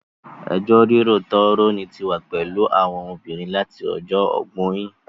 Ẹjọ́ rírò tó rọni tí wà pẹ̀lú àwọn obìnrin láti ọjọ́ ọgbọ́in